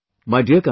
Jai Hind, Jai Hind